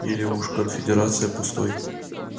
или уж конфедерация пустой